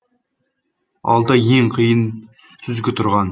алда ең қиын сүзгі тұрған